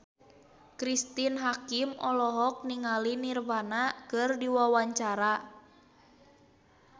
Cristine Hakim olohok ningali Nirvana keur diwawancara